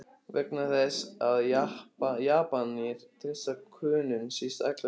Vegna þess, að Japanir treysta Könum síst allra þjóða!